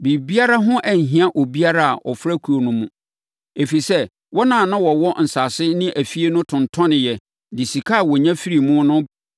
Biribiara ho anhia obiara a ɔfra kuo no mu, ɛfiri sɛ, wɔn a na wɔwɔ nsase ne afie no tontɔneeɛ de sika a wɔnya firii mu no